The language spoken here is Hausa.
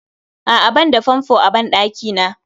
A'a banda fanfo a ban ɗakina